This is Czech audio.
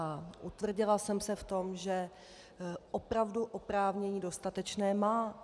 A utvrdila jsem se v tom, že opravdu oprávnění dostatečné má.